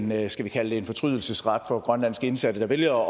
med en skal vi kalde det en fortrydelsesret for grønlandske indsatte der vælger